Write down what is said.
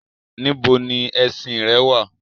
Níbo ni ẹṣin-ìn rẹ wà?